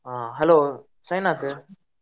ಆ hello ಸಾಯಿನಾಥ್.